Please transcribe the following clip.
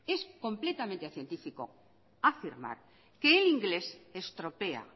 que el inglés estropea